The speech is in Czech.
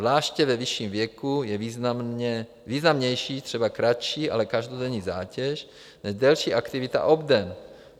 Zvláště ve vyšším věku je významnější třeba kratší, ale každodenní zátěž než delší aktivita obden.